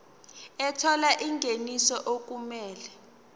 ethola ingeniso okumele